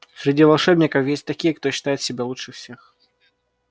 среди волшебников есть такие кто считает себя лучше всех